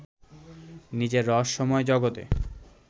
নিজের রহস্যময় জগতে